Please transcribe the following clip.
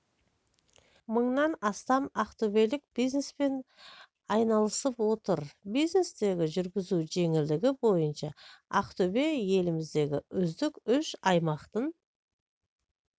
мыңнан астам ақтөбелік бизнеспен айналысып отыр бизнесті жүргізу жеңілдігі бойынша ақтөбе еліміздегі үздік үш аймақтың